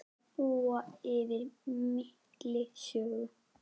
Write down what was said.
Þær búa yfir mikilli sögu.